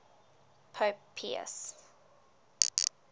pope pius